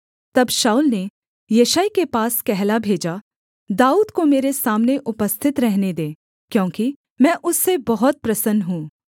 तब शाऊल ने यिशै के पास कहला भेजा दाऊद को मेरे सामने उपस्थित रहने दे क्योंकि मैं उससे बहुत प्रसन्न हूँ